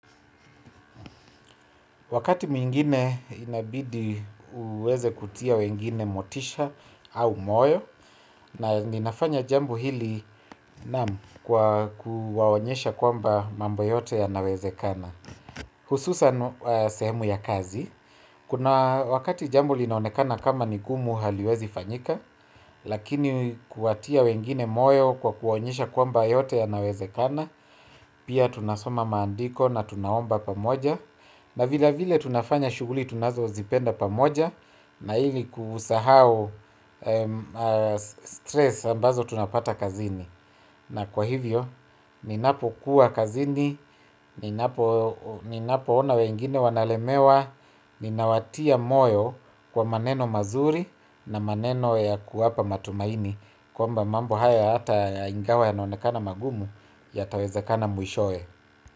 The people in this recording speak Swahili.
Wakati mwingine inabidi uweze kutia wengine motisha au moyo na ninafanya jambo hili naam kwa kuwaonyesha kwamba mambo yote yanawezekana. Hususa semu ya kazi, kuna wakati jambo linaonekana kama ni gumu haliwezi fanyika, lakini kuwatia wengine moyo kwa kuwaonyesha kwamba yote yanawezekana, pia tunasoma maandiko na tunaomba pamoja. Na vile vile tunafanya shughuli tunazozipenda pamoja. Na ili kusahao stress ambazo tunapata kazini. Na kwa hivyo, ninapo kuwa kazini, ninapo ona wengine wanalemewa ninawatia moyo kwa maneno mazuri na maneno ya kuwapa matumaini kwamba mambo haya hata ingawa yanaonekana magumu yatawezakana mwishowe.